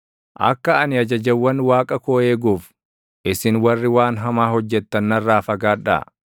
Akka ani ajajawwan Waaqa koo eeguuf, isin warri waan hamaa hojjettan narraa fagaadhaa!